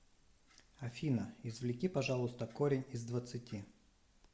афина извлеки пожалуйста корень из двадцати